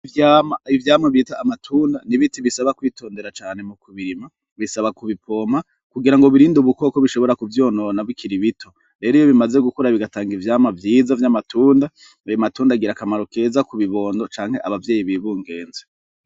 Bo ivyama bita amatunda ni biti bisaba kwitondera cane mu ku birima bisaba ku bipoma kugira ngo birinde ubukoko bishobora kuvyonona bikira ibito rero iyo bimaze gukora bigatanga ivyama vyiza vy'amatunda abamatundagira akamaro keza ku bibondo canke abavyeyi bibungenze.